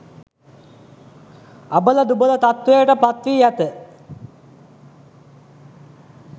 අබල දුබල තත්ත්වයට පත් වී ඇත